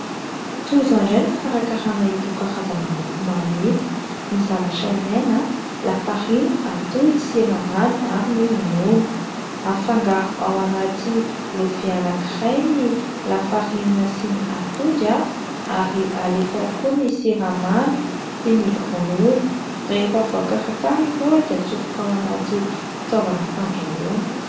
Toy izao indray ny fikarakarana ito karazana mofomamy ito. Ny zavatra ilaina : lafarinina, atody, siramamy ary ny ronono. Afangaro ao anaty lovia anankiray ny lafarinina sy ny atody ary alefa ao koa ny siramamy sy ny ronono. Rehefa voakarakara ireo dia atsofoka ao anaty fitaovana fandrahoana.